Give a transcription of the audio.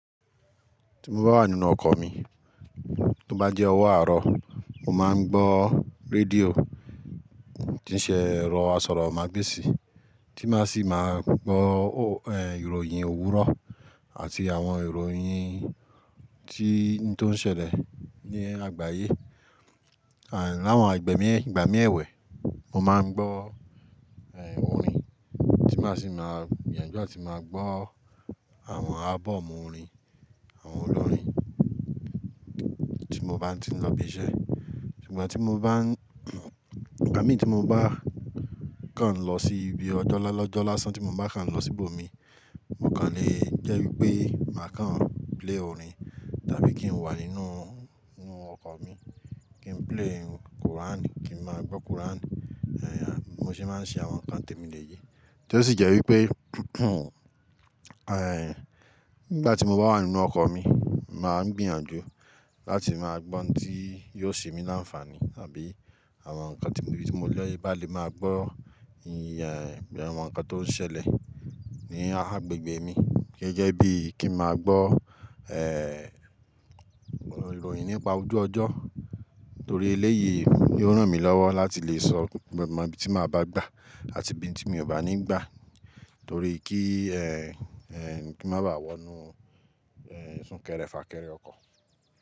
Tí mo bá wà nínú ọkọ̀ mi, tó bá jẹ́ ọwọ́ àárọ̀, mo máa ń gbọ́ rédíò tí ń ṣe èrò asọ̀rọ̀ magbesi, tí máa sì máa gbọ́, ẹ́, ìròyìn òwúrọ̀ àti àwọn ìròyìn tí ń tó ń ṣẹlẹ̀ ní àgbáyé. À, láwọn àgbè mí, ìgbà mí ẹ̀wẹ̀, mo máa ń gbọ́, ẹ́, orin tí máa sì máa gbìyànjú àti máa gbọ́ àwọn ábọ́ọ̀mù orin àwọn olórin tí mo bá ń tí ń lọ bí iṣẹ́. Ìgbà tí mo bá ń-- ìgbà mìí tí mo bá kàn lọ sí ibi ọjọ́ lọ́jọ́ lásán tí mo bá kàn lọ sí ibòmí, mo kàn le jẹ́ wipé máa kàn play orin tàbí kí n wà nínú, nínú ọkọ̀ mi kí n play Quran, kí n máa gbọ́ Quran. Èèyà bi mo se máa ń ṣe àwọn nǹkan tèmi lè yé. Tí ó sì jẹ́ wípé,, ẹ́, nígbà tí mo bá wà nínú ọkọ̀ mi, màá ń gbìyànjú láti máa gbọ́ ohun tí yóò ṣe mí láǹfààní àbí àwọn nǹkan tí mo lè bá lè máa gbọ́, ẹ́, àwọn nǹkan tó ń ṣẹlẹ̀ ní agbègbè mi. Gẹ́gẹ́ bí i kí n máa gbọ́, ẹ́, ìròyìn nípa ojú ọjọ́ torí eléyìí yó ràn mí lọ́wọ́ láti lè sọ mọ ibí tí màá bá gbà àti ibí tí mi ò bá ní gbà torí kí, ẹ́, ẹ́, kí n má ba à wọ inú, ẹ́, sún kẹrẹ fà kẹrẹ ọkọ̀.